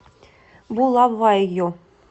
булавайо